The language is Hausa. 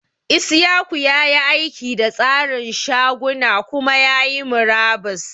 Isiaku ya yi aiki da tsarin shaguna kuma ya yi murabus.